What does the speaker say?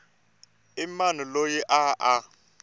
i mani loyi a a